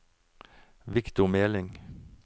Victor Meling